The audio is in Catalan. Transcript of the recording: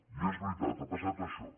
i és veritat ha passat això